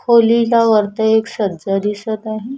खोलीला वरती एक सज्या दिसत आहे.